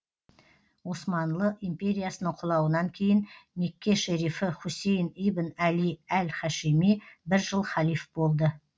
османлы империясының құлауынан кейін мекке шерифі хусейн ибн әли әл хашими бір жыл халиф болды